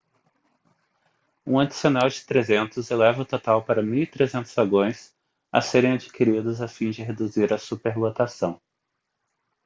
um adicional de 300 eleva o total para 1.300 vagões a serem adquiridos a fim de reduzir a superlotação